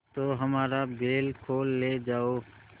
तो हमारा बैल खोल ले जाओ